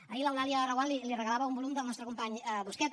ahir l’eulàlia reguant li regalava un volum del nostre company busqueta